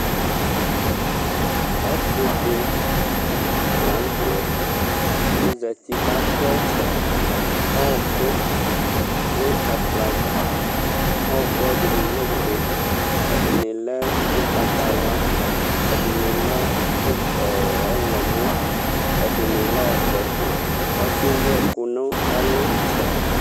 Ɔsidi la nu tɛ ɔzati katɛ ɔku nu ɛkplɔ ava ɛkuɛdini lɛ ofue ɛdini lɛ ugbatawla ɛdini lɛ ɔɣlomɔ ɛdini lɛ ɔvɛ ɔsiɛ ewu ɛku nu ɛlu